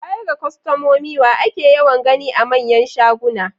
Baya ga kwastomomi, wa ake yawan gani a manyan shaguna?